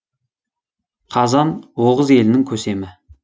қазан оғыз елінің көсемі